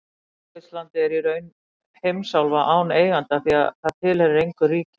Suðurskautslandið er í raun heimsálfa án eiganda því það tilheyrir engu ríki.